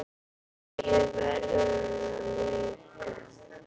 Maggi verður það líka.